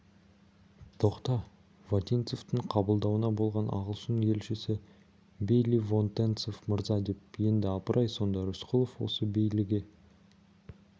тоқта вотинцевтің қабылдауында болған ағылшын елшісі бейли во-тен-цов мырза деп еді апыр-ай сонда рысқұлов осы бейлиге